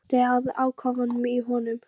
Og brosti að ákafanum í honum.